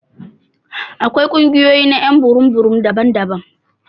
Akwai kungiyoyi na y'an burum burum daban-daban.